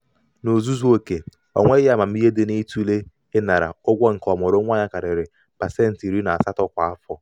n'ozuzu oke onweghi amamihe dị n'ịtụle ịnara ụgwọ nke ọmụrụnwa ya karịrị pasentị iri na asatọ kwa afọ.